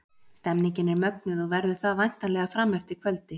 Stemningin er mögnuð og verður það væntanlega fram eftir kvöldi!